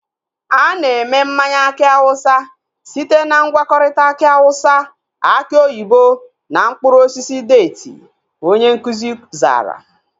Ana eme mmanya aki awụsa site na ngwakọta aki awụsa, aki oyibo na mkpụrụ osisi deeti, onye nkụzi zara